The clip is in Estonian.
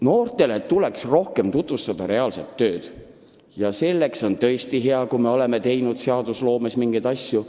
Noortele tuleks rohkem tutvustada reaalset tööd ja seda silmas pidades on tõesti hea, et me oleme seadusloomes mingeid samme astunud.